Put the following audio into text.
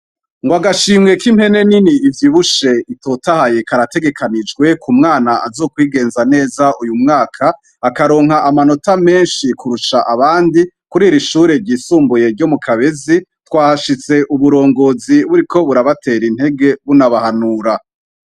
Ngo agashimwe k'impene nini ivy ibushe itotahaye karategekanijwe ku mwana azokwigenza neza .Uyu mwaka akaronka amanota menshi kurusha abandi kuriri ishure ryisumbuye ryo mu Kabezi. Twahashitse uburongozi buri ko burabatera intege bunabahanura.